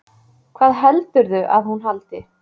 Hvað heldurðu að hún haldi?